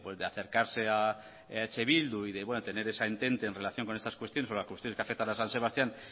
de acercarse a eh bildu y tener esa intente en relación con estas cuestiones sobre las cuestiones que afectan a san sebastián